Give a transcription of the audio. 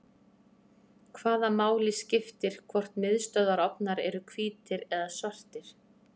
hvaða máli skiptir hvort miðstöðvarofnar eru hvítir eða svartir